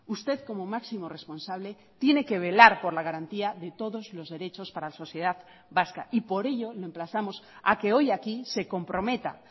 usted como máximo responsable tiene que velar por la garantía de todos los derechos para la sociedad vasca y por ello le emplazamos a que hoy aquí se comprometa